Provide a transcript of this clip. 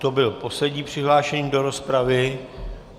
To byl poslední přihlášený do rozpravy.